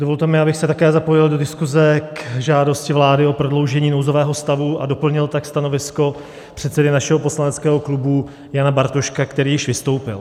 Dovolte mi, abych se také zapojil do diskuse k žádosti vlády o prodloužení nouzového stavu a doplnil tak stanovisko předsedy našeho poslaneckého klubu Jana Bartoška, který již vystoupil.